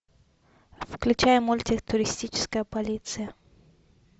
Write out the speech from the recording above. включай мультик туристическая полиция